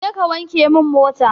Je kawanke min mota.